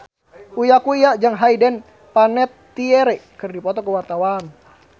Uya Kuya jeung Hayden Panettiere keur dipoto ku wartawan